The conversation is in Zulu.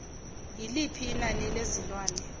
yiliphi inani lezilwane